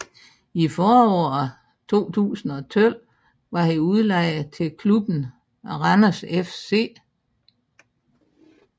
I foråret 2012 var han udlejet til klubben af Randers FC